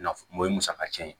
Nafan o ye musaka cɛn ye